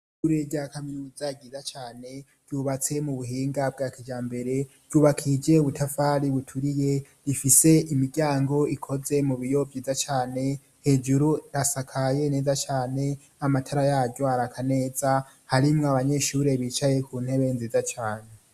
Ishure rya kaminuza ryiza cane ryubatse mu buhinga bwa kijambere, ryubakije ubutafari buturiye, rifise imiryango ikoze mu biyo vyiza cane, hejuru hasakaye neza cane, amatara yaryo araka neza, harimwo abanyeshure bicaye ku ntebe nziza cane.